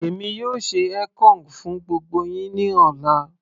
èmi yóò ṣe ekong fún gbogbo yín ní ọ̀la